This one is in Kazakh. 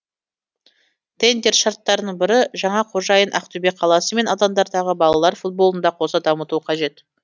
тендер шарттарының бірі жаңа қожайын ақтөбе қаласы мен аудандардағы балалар футболын да қоса дамытуы қажет